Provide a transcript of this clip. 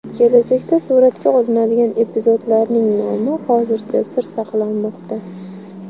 Kelajakda suratga olinadigan epizodlarning nomi hozircha sir saqlanmoqda.